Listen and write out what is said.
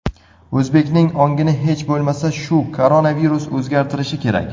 O‘zbekning ongini hech bo‘lmasa shu koronavirus o‘zgartirishi kerak.